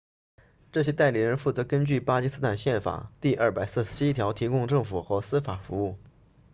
这些代理人负责根据巴基斯坦宪法第247条提供政府和司法服务